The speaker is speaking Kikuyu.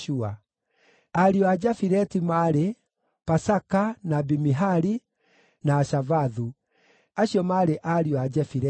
Ariũ a Jafileti maarĩ: Pasaka, na Bimihali, na Ashavathu. Acio maarĩ ariũ a Jefileti.